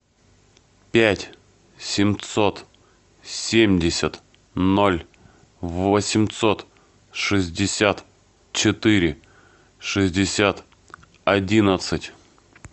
пять семьсот семьдесят ноль восемьсот шестьдесят четыре шестьдесят одиннадцать